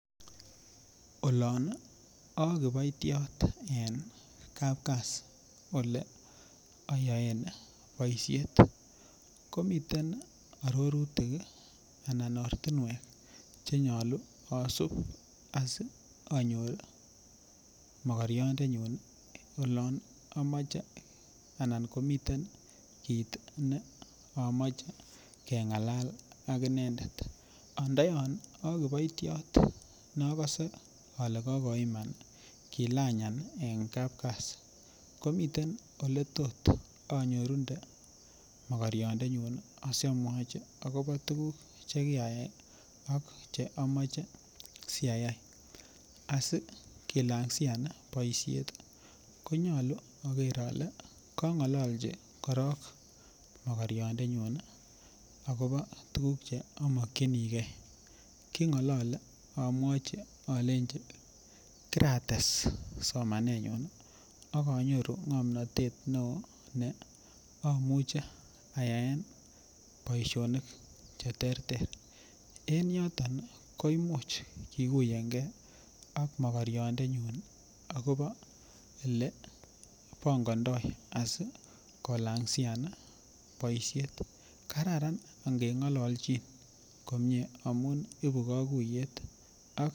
Olon akiboitiot en kapkasi ole ayoen boisiet komiten arorutik anan ortinwek chenyolu asup asi anyor mokoriondenyun ii olon amoche anan komiten kit neamoche keng'alal akinendet ando yon akiboitiot nokose ale kokoiman kilanyan en kapkasi komiten oletot anyorunde mokoriandenyun ii asiamwachi akopo tuguk chekiraiya ak che amoche si ayai asi kilangsian boisiet konyolu aker ale kong'ololchi korong mokoriandenyun akopo tuguk che amokyinigee king'olole amwachi alenji kirates somanenyun akonyoru ng'omnotet ne oo ne amuche ayaen boisionik cheterter en yoton ii ko imuch kikuyenge ak mokoriandenyun akopo olebongondoo asikolang sian ii boisiet kararan ange ng'ololchin komie amun ibuu kokuiyet ak.